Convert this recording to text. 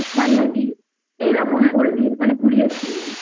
toast বানিয়ে দিই এইরকম করেদি মানে ঘুরিয়ে ফিরিয়ে